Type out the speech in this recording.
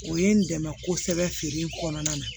O ye n dɛmɛ kosɛbɛ feere in kɔnɔna na